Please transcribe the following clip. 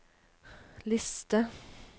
liste